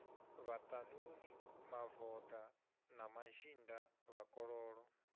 vhaṱanuni mavoḓa na mazhinda vhakololo